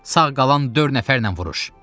Sağ qalan dörd nəfərlə vuruş!